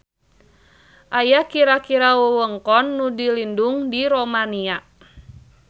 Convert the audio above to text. Aya kira-kira wewengkon nu dilindung di Romania.